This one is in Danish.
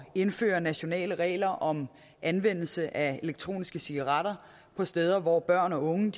indføre nationale regler om anvendelse af elektroniske cigaretter på steder hvor børn og unge